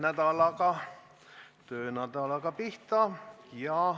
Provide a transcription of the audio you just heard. Alustame oma töönädalat.